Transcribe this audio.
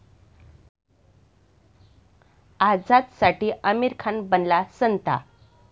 आझादसाठी आमिर खान बनला सांता!